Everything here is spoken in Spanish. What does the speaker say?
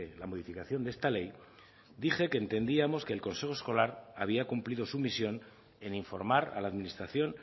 la modificación de esta ley dije que entendíamos que el consejo escolar había cumplido su misión en informar a la administración